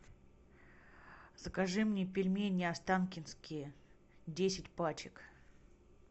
закажи мне пельмени останкинские десять пачек